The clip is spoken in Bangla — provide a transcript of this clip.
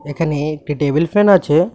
এখানে একটি টেবিল ফ্যান আছে।